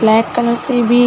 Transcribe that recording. black colour से भी --